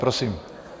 Prosím.